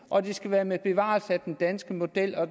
og det skal være med bevarelse af den danske model og